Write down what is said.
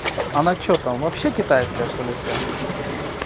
она что там вообще китайская что-ли вся